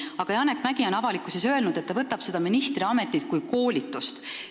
Aga Janek Mäggi on avalikkuses öelnud, et ta võtab ministriametit kui koolitust.